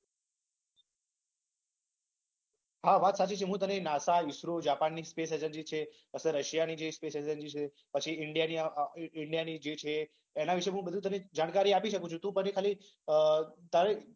હા વાત સાચી છે. હું તને નાસા ઈસરો જાપાનની સ્પેસ એજન્સી વીશે અથવા રશીયાની જે સ્પેસ એજન્સી છે પછી ઈન્ડિયાની જે છે એ. એના વીશે જાણકારી આપી શકુ છુ. તુ પછી ખાલી મને